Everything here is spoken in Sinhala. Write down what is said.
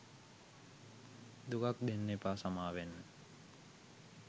දුකක් දෙන්න එපා සමාවෙන්න